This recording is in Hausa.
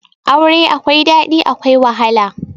Aure akwai daɗi akwai wahala